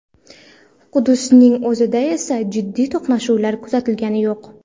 Quddusning o‘zida esa jiddiy to‘qnashuvlar kuzatilgani yo‘q.